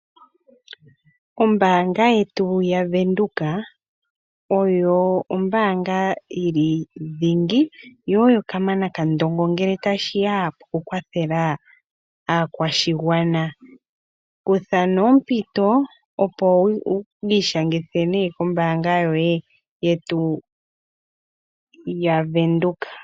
Ombaanga yetu yaWindhoek oyo ombaanga yili dhingi yo oyo kamana kandongo ngele tashi ya pokukwathela aakwashigwana. Kutha nee ompito opo wu ishangithe kombaanga yetu yaWindhoek.